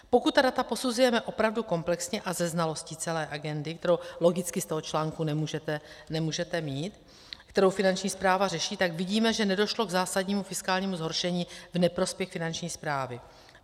Pokud ta data posuzujeme opravdu komplexně a se znalostí celé agendy, kterou logicky z toho článku nemůžete mít, kterou Finanční správa řeší, tak vidíme, že nedošlo k zásadnímu fiskálnímu zhoršení v neprospěch Finanční správy.